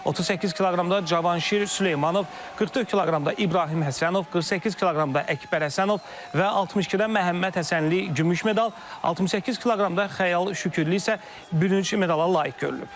38 kq-da Cavanşir Süleymanov, 44 kq-da İbrahim Həsənov, 48 kq-da Əkbər Həsənov və 62-də Məhəmməd Həsənli gümüş medal, 68 kq-da Xəyal Şükürlü isə bürünc medala layiq görülüb.